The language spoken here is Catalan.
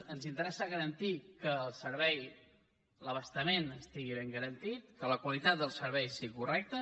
ens interessa garantir que el servei l’abastament estigui ben garantit que la qualitat del servei sigui correcta